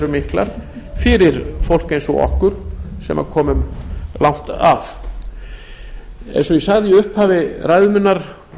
miklar fyrir fólk eins og okkur sem komum langt að eins og ég sagði í upphafi ræðu minnar